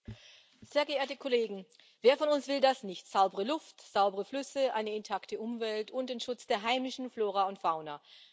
Herr Präsident, sehr geehrte Kollegen! Wer von uns will das nicht saubere Luft, saubere Flüsse, eine intakte Umwelt und den Schutz der heimischen Flora und Fauna.